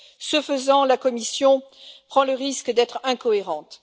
Ce faisant, la Commission prend le risque d'être incohérente.